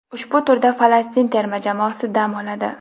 Ushbu turda Falastin terma jamoasi dam oladi.